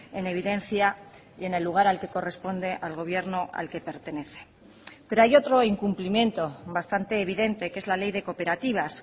en evidencia y en el lugar al que corresponde al gobierno al que pertenece pero hay otro incumplimiento bastante evidente que es la ley de cooperativas